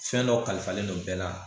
Fɛn dɔ kalifalen don bɛɛ la